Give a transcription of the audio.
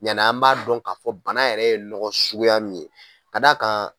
Ɲɛna an b'a dɔn k'a fɔ bana yɛrɛ ye nɔgɔ suguya min ye ka d'a kan